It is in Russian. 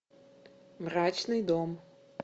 мрачный дом